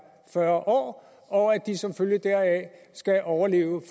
fyrre år og at de som følge deraf skal overleve